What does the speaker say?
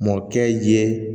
Mɔkɛ ye